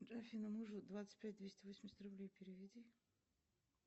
афина мужу двадцать пять двести восемьдесят рублей переведи